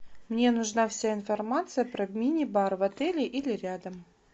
мне нужна вся информация про мини бар в отеле или рядом